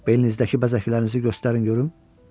Belinizdəki xidmətinizi göstərin görüm.